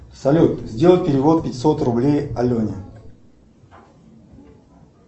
салют сделай перевод пятьсот рублей алене